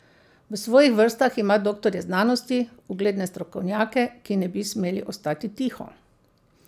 V svojih vrstah ima doktorje znanosti, ugledne strokovnjake, ki ne bi smeli ostati tiho.